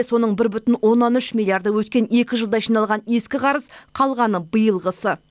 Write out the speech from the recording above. соның бір бүтін оннан үш миллиарды өткен екі жылда жиналған ескі қарыз қалғаны биылғысы